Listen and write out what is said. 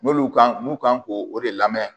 N'olu kan n'u kan k'o de lamɛ